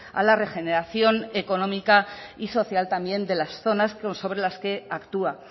a la regeneración económica y social también de las zonas sobre las que actúa